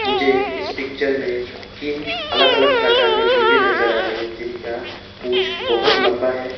मुझे इस पिक्चर में तीन अलग अलग प्रकार के मुर्गे नजर आ रहे हैं जिनका पूछ बहोत लंबा है।